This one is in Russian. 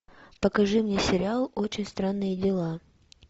покажи мне сериал очень странные дела